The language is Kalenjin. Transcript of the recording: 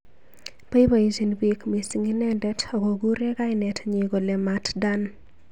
Boibojin bik mising inendet ak kokurei kainet nyi kole Mat Dan.